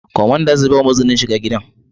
Kwamanda zai bamu izinin shiga gidan